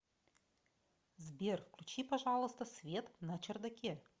сбер включи пожалуйста свет на чердаке